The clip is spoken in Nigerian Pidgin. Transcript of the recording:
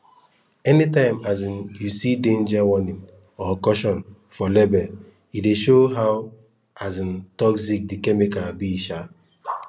anytime um you see danger warning or caution for label e dey show how um toxic the chemical be um